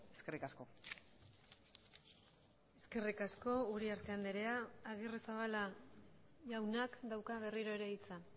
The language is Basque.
eskerrik asko eskerrik asko uriarte andrea agirrezabala jaunak dauka berriro ere hitza